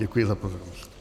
Děkuji za pozornost.